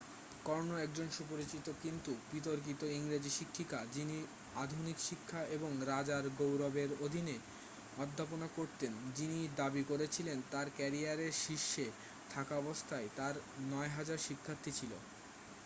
কর্নো একজন সুপরিচিত কিন্তু বিতর্কিত ইংরেজি শিক্ষিকা যিনি আধুনিক শিক্ষা এবং রাজার গৌরবের অধীনে অধ্যাপনা করতেন যিনি দাবি করেছিলেন তাঁর ক্যারিয়ারের শীর্ষে থাকাবস্থায় তাঁর 9000 শিক্ষার্থী ছিল